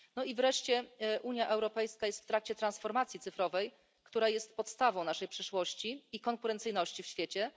No i wreszcie Unia Europejska jest w trakcie transformacji cyfrowej, która jest podstawą naszej przyszłości i konkurencyjności w świecie.